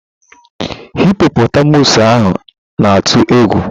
Hipọpọtamụsụ ahu na-atụ egwu.